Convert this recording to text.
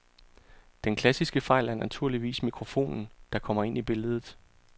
Den klassiske fejl er naturligvis mikrofonen, der kommer ind i billedet.